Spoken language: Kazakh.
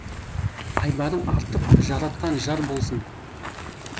айбарың артып жаратқан жар болсын